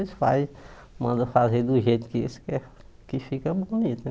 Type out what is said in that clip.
Eles fazem mandam fazer de um jeito que que fica bonito.